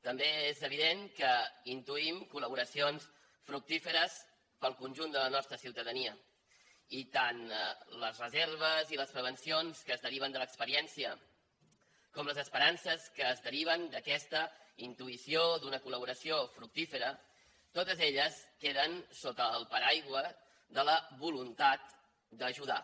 també és evident que intuïm col·laboracions fructíferes per al conjunt de la nostra ciutadania i tant les reserves i les prevencions que es deriven de l’experiència com les esperances que es deriven d’aquesta intuïció d’una col·laboració fructífera totes elles queden sota el paraigua de la voluntat d’ajudar